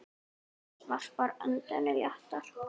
Agnes varpar öndinni léttar.